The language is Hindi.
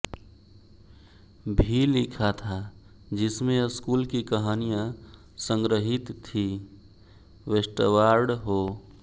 भी लिखा था जिसमें स्कूल की कहानियां संग्रहित थीं वेस्टवार्ड हो